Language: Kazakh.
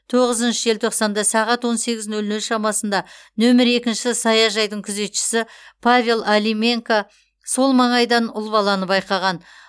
тоғызыншы желтоқсанда сағат он сегіз нөл нөл шамасында нөмер екі саяжайдың күзетшісі павел алименко сол маңайдан ұл баланы байқаған